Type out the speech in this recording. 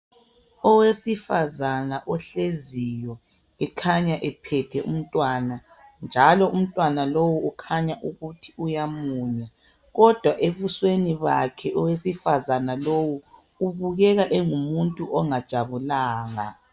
Owesifazana ohleziyo ekhanya uphethe umntwana , njalo umntwana lo ukhanya ukuthi uyamunya. Kodwa ebusweni bakhe owesifazana lowu, ubukeka engumuntu ongajabulanga.